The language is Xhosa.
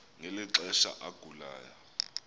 ngeli xesha agulayo